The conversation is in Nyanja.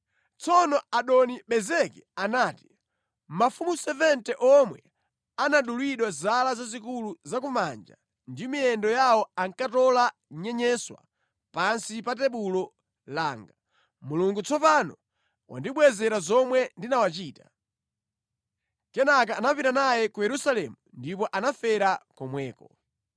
Tsono Adoni-Bezeki anati, “Mafumu 70 omwe anadulidwa zala zazikulu za ku manja ndi miyendo yawo ankatola nyenyeswa pansi pa tebulo langa. Mulungu tsopano wandibwezera zomwe ndinawachita.” Kenaka anapita naye ku Yerusalemu ndipo anafera komweko.